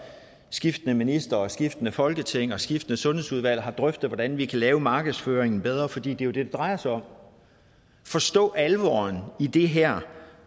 skiftende ministre og skiftende folketing og skiftende sundhedsudvalg har drøftet hvordan vi kan lave markedsføringen bedre for det er jo det det drejer sig om at forstå alvoren i det her